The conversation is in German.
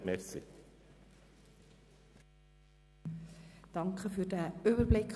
Vielen Dank für diesen Überblick.